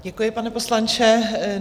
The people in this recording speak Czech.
Děkuji, pane poslanče.